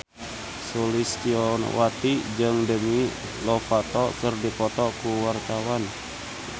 Sulistyowati jeung Demi Lovato keur dipoto ku wartawan